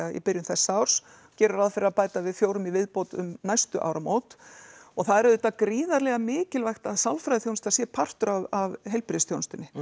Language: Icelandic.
í byrjun þessa árs gerum ráð fyrir að bæta við fjórum í viðbót um næstu áramót og það er auðvitað gríðarlega mikilvægt að sálfræðiþjónusta sé partur af heilbrigðisþjónustunni